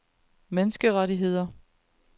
menneskerettigheder